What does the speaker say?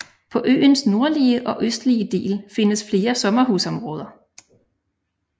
På øens nordlige og østlige del findes flere sommerhusområder